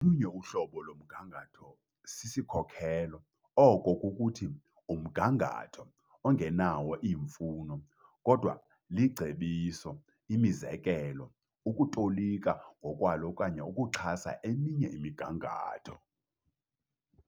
Olunye uhlobo lomgangatho sisikhokelo, oko kukuthi, umgangatho ongenawo iimfuno, kodwa licebiso, imizekelo, ukutolika ngokwalo okanye ukuxhasa eminye imigangatho.